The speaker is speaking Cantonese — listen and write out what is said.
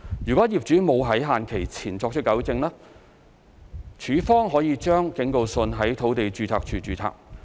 如業主沒有在限期前作出糾正，署方可把警告信在土地註冊處註冊。